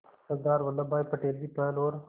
सरदार वल्लभ भाई पटेल की पहल और